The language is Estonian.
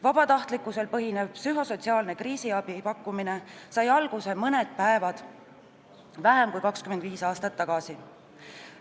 Vabatahtlikkusel põhineva psühhosotsiaalse kriisiabi pakkumine sai alguse mõni päev vähem kui 25 aastat tagasi.